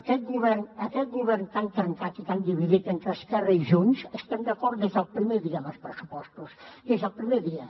aquest govern tan trencat i tan dividit entre esquerra i junts estem d’acord des del primer dia amb els pressupostos des del primer dia